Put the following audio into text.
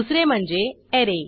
दुसरे म्हणजे ऍरे